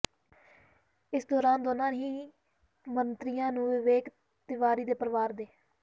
ਇਸ ਦੌਰਾਨ ਦੋਨਾਂ ਹੀ ਮੰਤਰੀਆਂ ਨੂੰ ਵਿਵੇਕ ਤਿਵਾਰੀ ਦੇ ਪਰਿਵਾਰ ਦੇ